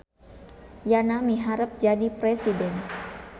Yana miharep jadi presiden